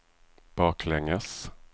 baklänges